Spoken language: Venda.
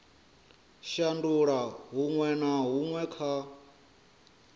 shandula huṅwe na huṅwe kha